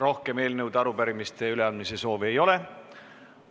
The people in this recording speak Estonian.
Rohkem eelnõude ja arupärimiste üleandmise soovi ei ole.